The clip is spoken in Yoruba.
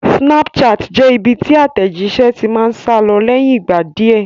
Snapchat jẹ́ ibi tí àtẹ̀jíṣé ti máa ń sálọ lẹ́yìn ìgbà díẹ̀